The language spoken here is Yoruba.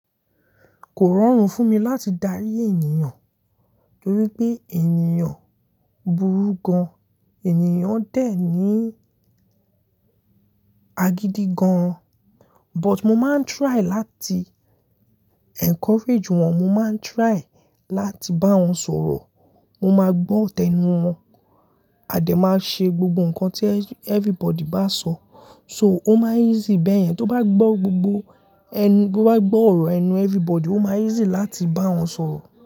Kò rọrùn fún mi láti darí ènìyàn, torí pé ènìyàn burú gan, ènìyàn dẹ̀ ní agídí gan. But mo máa ń try láti encourage wọn, mo máa ń try láti bá wọn sọ̀rọ̀, mo máa gbọ́ tẹnu wọn. Adé máa ṣe gbogbo ǹkan tí everybody bá sọ. So ó máa easy bẹ́yẹn, tó bá gbọ́ gbogbo ẹni, tó bá gbọ́ ọ̀rọ̀ ẹnu everybody, ó máa easy láti bá wọn sọ̀rọ̀